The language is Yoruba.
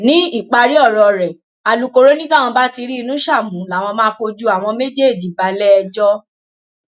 ní ìparí ọrọ rẹ alūkkoro ni táwọn bá ti rí inúṣà mú làwọn máa fojú àwọn méjèèjì balẹẹjọ